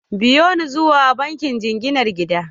Biyo ni zuwa bankin jinginar gida!